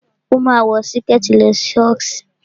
O máa ń wọ Síkẹ̀tí lọ ṣọ́ọ̀ṣì